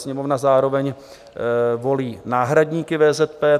Sněmovna zároveň volí náhradníky VZP.